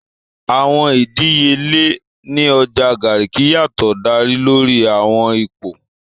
Awọn idiyele ni Ọja Garki yatọ da lori awọn ipo.